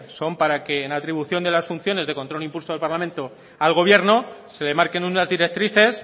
son para que en atribución de las funciones de control e impulso del parlamento al gobierno se le marquen unas directrices